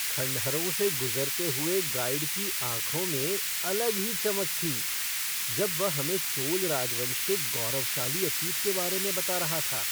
खंडहरों से गुज़रते हुए गाइड की आँखों में अलग ही चमक थी जब वह हमें चोल राजवंश के गौरवशाली अतीत के बारे में बता रहा था।